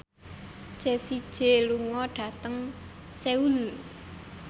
Jessie J lunga dhateng Seoul